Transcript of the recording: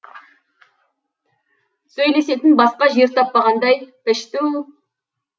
сөйлесетін басқа жер таппағандай пішту